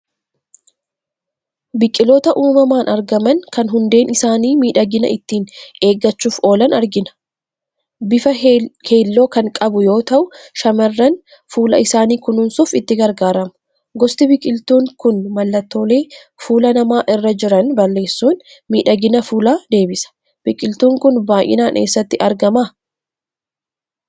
Biqiloota uumamaan argaman kan hundeen isaanii miidhagina ittiin eeggachuuf oolan argina. Bifa keelloo kan qabuu yoo ta'u shamarran fuula isaanii kununsuuf itti gargaaramuu. Gosti biqiltuu kun mallattoolee fuula namaa irra jiran balleessuun miidhagina fuulaa deebisa. Biqiltuun kun baayinaan eessatti argama ?